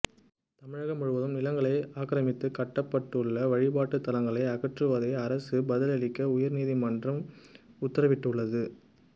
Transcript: தமிழகம் முழுவதும் நிலங்களை ஆக்கிரமித்து கட்டப்பட்டுள்ள வழிபாட்டு தலங்களை அகற்றுவதில் அரசு பதிலளிக்க உயர்நீதிமன்றம் உத்தரவிட்டுள்ளது